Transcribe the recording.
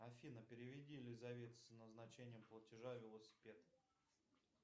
афина переведи елизавете с назначением платежа велосипед